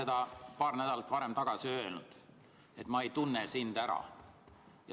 Ma olen paar nädalat tagasi öelnud, et ma ei tunne sind ära.